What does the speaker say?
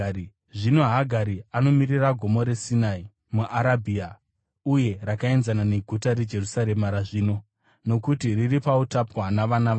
Zvino Hagari anomirira Gomo reSinai muArabhia uye rakaenzana neguta reJerusarema razvino, nokuti riri pautapwa navana varo.